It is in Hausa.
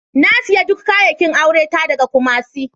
Na siya duk kayakin aure ta daga Kumasi.